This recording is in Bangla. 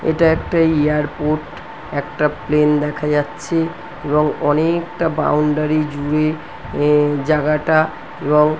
এটা একটা এয়ারপোর্ট একটা প্লেন দেখা যাচ্ছে এবং অনেকটা বাউন্ডারি ইয়ে জুড়ে জায়গাটা রঙ--